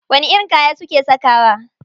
Wani irin kaya suke sakawa?